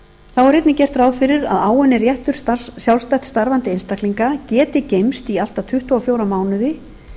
er einnig gert ráð fyrir að áunninn réttur sjálfstætt starfandi einstaklinga geti geymst í allt að tuttugu og fjóra mánuði í